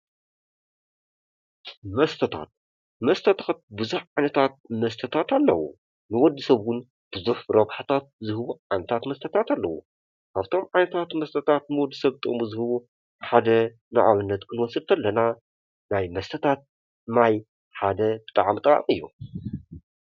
መስተታት፤ መስተታት ቡዚሕ ዓይነታታት መስተታት ኣለው ንወድስብ ቡዙሕ ዓይነት ረብሓታት ዝህቡ ዓይነታታት መስተታት ኣለው ኻብቶም ዓይነታት ንወድሰብ ጥቅሚ ዝህቡ ሓደ ማይ እዩ።